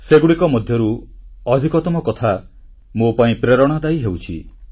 ସେଥିମଧ୍ୟରୁ ଅନେକ ମୋ ପାଇଁ ପ୍ରେରଣାଦାୟୀ ହେଉଛି